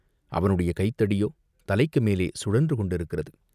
அவனுடைய கைத்தடியோ தலைக்கு மேலே சுழன்றுகொண்டிருக்கிறது.